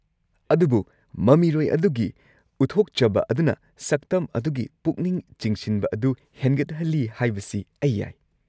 ꯑꯗꯨꯕꯨ ꯃꯃꯤꯔꯣꯏ ꯑꯗꯨꯒꯤ ꯎꯠꯊꯣꯛꯆꯕ ꯑꯗꯨꯅ ꯁꯛꯇꯝ ꯑꯗꯨꯒꯤ ꯄꯨꯛꯅꯤꯡ ꯆꯤꯡꯁꯤꯟꯕ ꯑꯗꯨ ꯍꯦꯟꯒꯠꯍꯜꯂꯤ ꯍꯥꯏꯕꯁꯤ ꯑꯩ ꯌꯥꯏ꯫